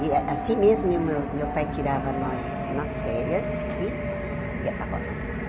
E assim mesmo, meu meu pai tirava nós nas férias e ia para a roça.